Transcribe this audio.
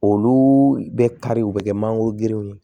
Olu bɛ kari u bɛ kɛ mangoro gerew ye